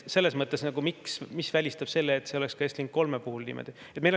Mis välistab selle, et see oleks ka Estlink 3 puhul niimoodi?